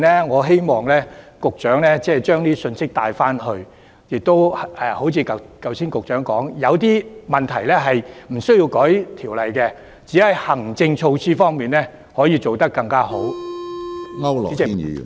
我希望局長把這些信息帶回去，正如局長剛才所說，有些問題無須修訂條例去處理，只須透過行政措施便可以做得更好。